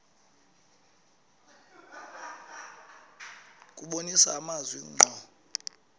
kubonisa amazwi ngqo